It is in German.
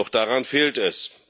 Doch daran fehlt es.